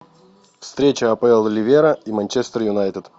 встреча апл ливера и манчестер юнайтед